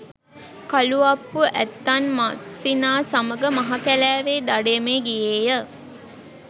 කළු අප්පු ඇත්තන් මස්සිනා සමග මහ කැලෑවේ දඩයමේ ගියේය